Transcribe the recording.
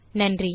நன்றி